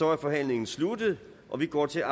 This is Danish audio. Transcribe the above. er forhandlingen sluttet og vi går til